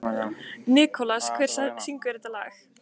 Nikolas, hver syngur þetta lag?